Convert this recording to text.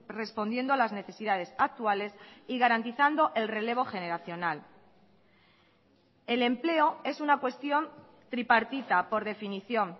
respondiendo a las necesidades actuales y garantizando el relevo generacional el empleo es una cuestión tripartita por definición